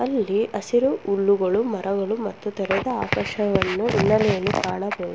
ಇಲ್ಲಿ ಹಸಿರು ಹುಲ್ಲುಗಳು ಮರಗಳು ಮತ್ತು ತೆರೆದ ಆಕಾಶವನ್ನು ಹಿನ್ನಲೆಯಲ್ಲಿ ಕಾಣಬಹುದು.